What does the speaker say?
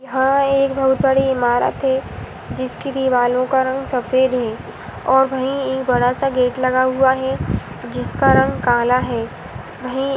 यहां एक बहुत बड़ी इमारत है जीस्की दिवारोंका रंग सेप्ड है और वही बदसा को लगहुआ है ज़ीस्का रंग काला है